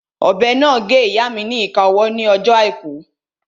Ọ̀bẹ náà gé ìyáa mi ni ìka ọwọ́ ní ọjọ́ àìkú